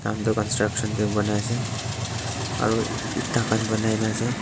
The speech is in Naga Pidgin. construction tae banaiase aro eta khan banainaase.